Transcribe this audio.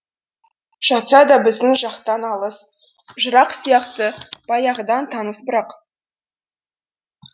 жатса да біздің жақтан алыс жырақ сияқты баяғыдан таныс бірақ